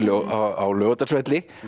á Laugardalsvelli